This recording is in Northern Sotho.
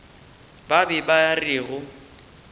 ba be ba re go